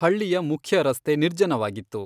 ಹಳ್ಳಿಯ ಮುಖ್ಯ ರಸ್ತೆ ನಿರ್ಜನವಾಗಿತ್ತು.